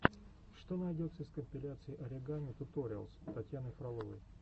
что найдется из компиляций оригами туториалс татьяны фроловой